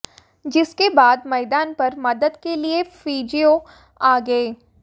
जिसके बाद मैदान पर मदद के लिए फीजियो आ गए